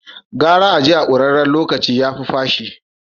Gara a je a kuraren locaci, yafi fashi.